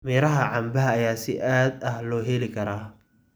Miraha canbaha ayaa si aad ah loo heli karaa.